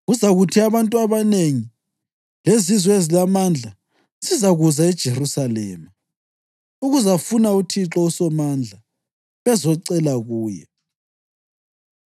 Kuzakuthi abantu abanengi lezizwe ezilamandla zizakuza eJerusalema ukuzafuna uThixo uSomandla bezocela kuye.”